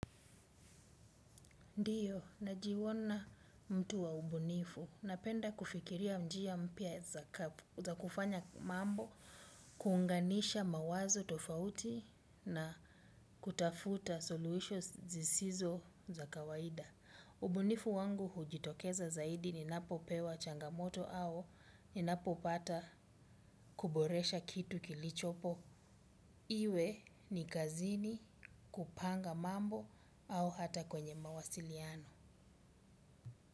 Ndiyo, najiona mtu wa ubunifu. Napenda kufikiria njia mpya za kufanya mambo, kuunganisha mawazo tofauti na kutafuta solutions zisizo za kawaida. Ubunifu wangu hujitokeza zaidi ni napopewa changamoto au ni napopata kuboresha kitu kilichopo. Iwe ni kazini kupanga mambo au hata kwenye mawasiliano.